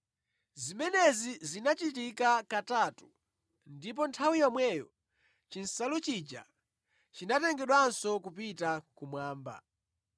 Zimenezi zinachitika katatu ndipo nthawi yomweyo chinsalu chija chinatengedwanso kupita kumwamba.